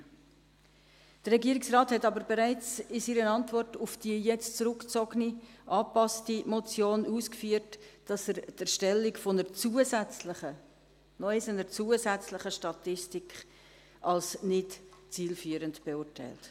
Der Regierungsrat hat aber bereits in seiner Antwort auf die jetzt zurückgezogene angepasste Motion ausgeführt, dass er die Erstellung einer zusätzlichen – noch einmal: einer zusätzlichen – Statistik als nicht zielführend beurteilt.